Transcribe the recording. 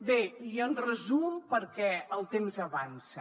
bé i en resum perquè el temps avança